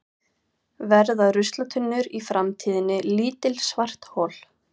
verða ruslatunnur í framtíðinni lítil svarthol